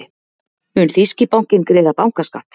Mun þýski bankinn greiða bankaskatt?